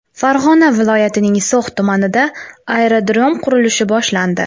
Farg‘ona viloyatining So‘x tumanida aerodrom qurilishi boshlandi.